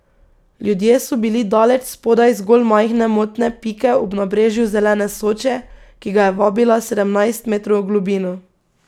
Ljudje so bili daleč spodaj zgolj majhne motne pike ob nabrežju zelene Soče, ki ga je vabila sedemnajst metrov v globino.